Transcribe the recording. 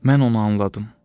Mən onu anladım.